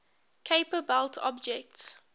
kuiper belt objects